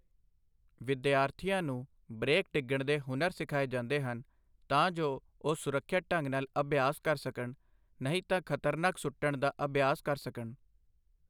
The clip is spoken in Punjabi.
ਵਿਦਿਆਰਥੀਆਂ ਨੂੰ ਬਰੇਕ ਡਿੱਗਣ ਦੇ ਹੁਨਰ ਸਿਖਾਏ ਜਾਂਦੇ ਹਨ, ਤਾਂ ਜੋ ਉਹ ਸੁਰੱਖਿਅਤ ਢੰਗ ਨਾਲ ਅਭਿਆਸ ਕਰ ਸਕਣ। ਨਹੀਂ ਤਾਂ ਖਤਰਨਾਕ ਸੁੱਟਣ ਦਾ ਅਭਿਆਸ ਕਰ ਸਕਣ।